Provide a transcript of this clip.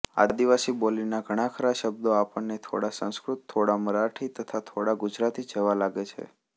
આદિવાસી બોલીના ઘણાખરા શબ્દો આપણને થોડા સંસ્કૃત થોડા મરાઠી તથા થોડા ગુજરાતી જેવા લાગે છે